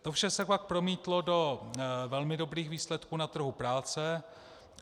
To vše se pak promítlo do velmi dobrých výsledků na trhu práce.